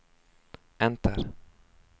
enter